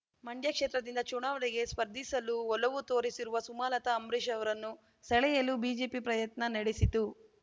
ಮಂಡ್ಯ ಕ್ಷೇತ್ರದಿಂದ ಚುನಾವಣೆಗೆ ಸ್ಪರ್ಧಿಸಲು ಒಲವು ತೋರಿಸಿರುವ ಸುಮಲತಾ ಅಂಬರೀಷ್‌ ಅವರನ್ನು ಸೆಳೆಯಲು ಬಿಜೆಪಿ ಪ್ರಯತ್ನ ನಡೆಸಿತ್ತು